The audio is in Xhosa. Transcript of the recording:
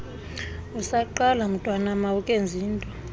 usaqala mntwanam awukenzinto